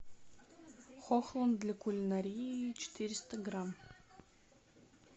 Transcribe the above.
хохланд для кулинарии четыреста грамм